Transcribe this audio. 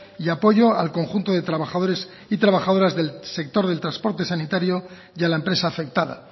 y apoyo al conjunto de trabajadores y trabajadoras del sector del transporte sanitario y a la empresa afectada